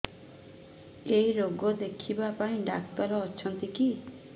ଏଇ ରୋଗ ଦେଖିବା ପାଇଁ ଡ଼ାକ୍ତର ଅଛନ୍ତି କି